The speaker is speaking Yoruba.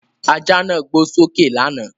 Ajá náà gbó sókè lánàá.